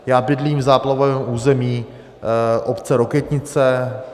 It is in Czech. Já bydlím v záplavovém území obce Rokytnice.